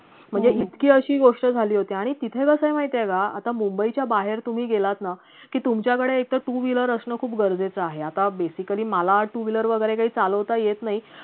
म्हणजे इतकी अशी गोष्ट झाली होती आणि तिथे कसय माहितीये का आता mumbai च्या बाहेर तुम्ही गेलात ना की तुमच्याकडे एकतर two wheeler असणं खूप गरजेचं आहे आता basically मला two wheeler वैगरे काही चालवता येत नाही